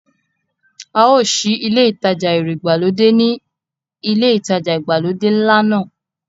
A ó sí ilé ìtajà ẹ̀rọ ìgbàlódé ni ilé ìtajà ìgbàlódé ńlá náà.